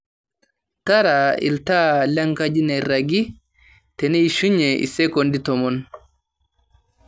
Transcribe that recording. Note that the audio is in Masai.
taara iltaai lenkaji nairagi teishunye isekondi tomon